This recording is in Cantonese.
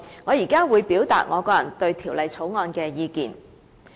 我現在會表達我個人對《條例草案》的意見。